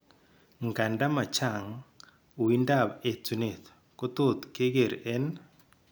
Nganda machang, uindab etunet ko tot keger en